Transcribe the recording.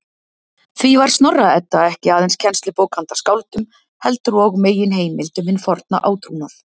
Því var Snorra-Edda ekki aðeins kennslubók handa skáldum, heldur og meginheimild um hinn forna átrúnað.